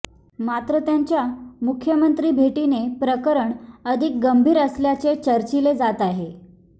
मात्र त्यांच्या मुख्यमंत्री भेटीने प्रकरण अधिक गंभीर असल्याचे चर्चिले जात आहे